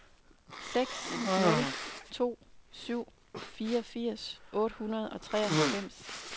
seks nul to syv fireogfirs otte hundrede og treoghalvfems